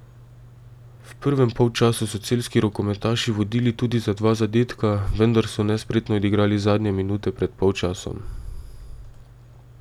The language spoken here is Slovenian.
V prvem polčasu so celjski rokometaši vodili tudi za dva zadetka, vendar so nespretno odigrali zadnje minute pred polčasom.